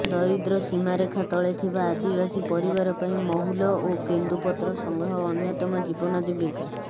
ଦାରିଦ୍ର୍ୟ ସୀମାରେଖା ତଳେ ଥିବା ଆଦିବାସୀ ପରିବାର ପାଇଁ ମହୁଲ ଓ କେନ୍ଦୁପତ୍ର ସଂଗ୍ରହ ଅନ୍ୟତମ ଜୀବନ ଜୀବିକା